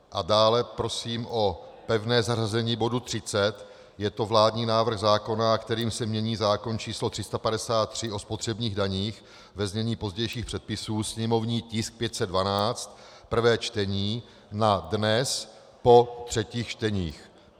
A dále prosím o pevné zařazení bodu 30, je to vládní návrh zákona, kterým se mění zákon č. 353, o spotřebních daních, ve znění pozdějších předpisů, sněmovní tisk 512, prvé čtení, na dnes po třetích čteních.